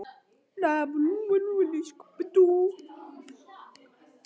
Hafði hún ekki ýjað að einhverju í þá áttina útí Finnlandi í fyrrasumar?